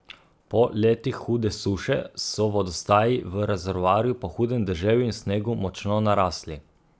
Po letih hude suše so vodostaji v rezervoarju po hudem deževju in snegu močno narasli.